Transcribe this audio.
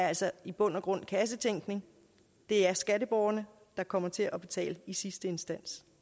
altså i bund og grund kassetænkning det er skatteborgerne der kommer til at betale i sidste instans